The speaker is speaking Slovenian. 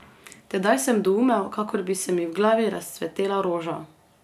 Tedaj sem doumel, kakor bi se mi v glavi razcvetela roža.